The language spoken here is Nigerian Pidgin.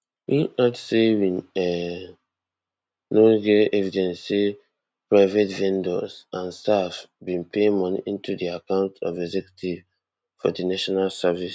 im add say we um now get evidence say private vendors and staff bin pay moni into di accounts of executives for di national service